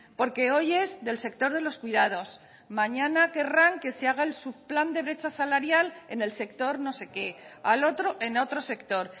porque hoy es del sector de los cuidados mañana querrán que se haga el subplan de brecha salarial en el sector no sé qué a lo otro en otro sector